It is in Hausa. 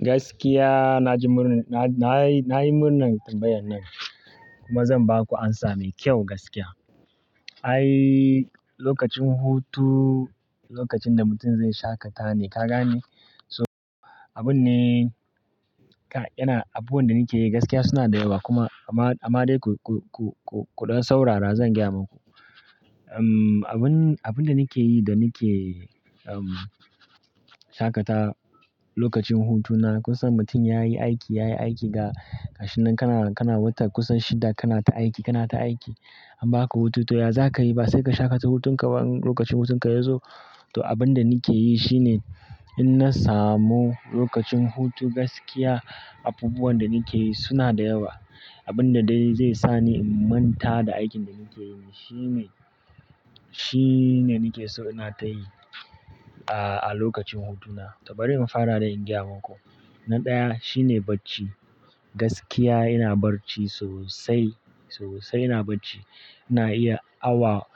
Gaskiya na ji murnar, na, na yi, na yi murnar tambayan nan kuma zan ba ku amsa mai kyau gaskiya. Ai lokacin hutu lokacin da mutum zai shaƙata ne, ka gane? So abun ne, kai, yana, abubuwan da nike yi gaskiya suna da yawa kuma amma, amma dai ku, ku, ku, ku ɗan saurara zan gaya maku. Uhm, abun, abun da nike yi da nike uhm, shaƙatawa lokacin hutuna kusan mutum yayi aiki, yayi aiki da gashi nan kana, kana wata kusan shida kana ta aiki, kana ta aiki. An ba ka hutu to ya za ka yi ba? Sai ka shaƙata hutun ka ba in lokacin hutun ka ya zo. To abun da nike yi shine in na samu lokacin hutu gaskiya abubuwan da nike yi suna da yawa. Abun da dai zai sa ni in manta da aikin da nike yi ne shine, shine nike so ina ta yi a, a lokacin hutuna. Tau bari in fara dai in gaya maku. Na ɗaya shine bacci. Gaskiya ina bacci sosai, sosai ina bacci. Ina iya awa